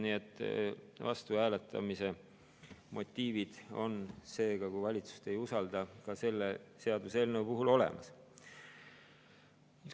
Nii et vastuhääletamise motiivid on seega, kui valitsust ei usalda, ka selle seaduseelnõu puhul olemas.